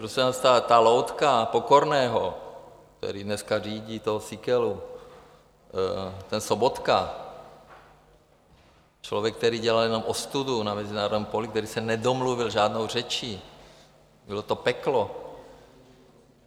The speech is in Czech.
Prosím vás, ta loutka Pokorného, který dneska řídí toho Síkelu, ten Sobotka, člověk, který dělal jenom ostudu na mezinárodním poli, který se nedomluvil žádnou řečí, bylo to peklo.